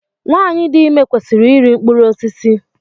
Nwaanyị dị ime kwesịrị iri mkpụrụ osisi.